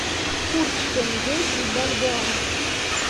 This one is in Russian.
курс тенге и бальбоа